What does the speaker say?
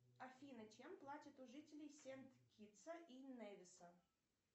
афина чем платят у жителей сент китса и невиса